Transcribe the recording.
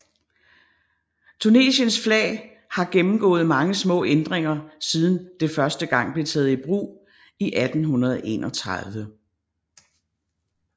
Tunisiens flag har gennemgået mange små ændringer siden det første gang blev taget i brug i 1831